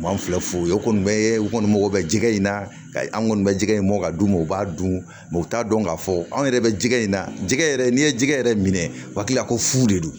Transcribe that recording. U b'an filɛ fo yen o kɔni be u kɔni mago bɛ jɛgɛ in na ka an kɔni bɛ jɛgɛ in bɔ ka d'u ma u b'a dun u t'a dɔn k'a fɔ anw yɛrɛ bɛ jɛgɛ in na jɛgɛ yɛrɛ n'i ye jɛgɛ yɛrɛ minɛ u hakili la ko fu de don